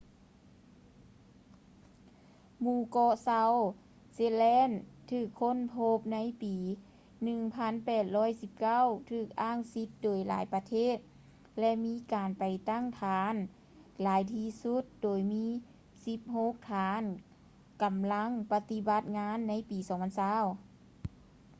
ໝູ່ເກາະ ເຊົາທ໌ ເຊັດແລນ south shetland ຖືກຄົ້ນພົບໃນປີ 1819 ຖືກອ້າງສິດໂດຍຫຼາຍໆປະເທດ ແລະ ມີການໄປຕັ້ງຖານຫຼາຍທີ່ສຸດ ໂດຍມີສິບຫົກຖານກໍາລັງປະຕິບັດງານໃນປີ 2020